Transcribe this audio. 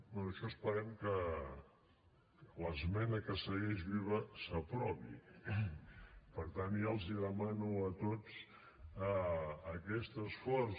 bé això esperem que l’esmena que segueix viva s’aprovi per tant ja els demano a tots aquest esforç